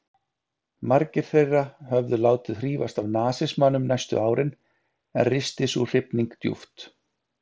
Margir þeirra höfðu látið hrífast af nasismanum næstu árin, en risti sú hrifning djúpt?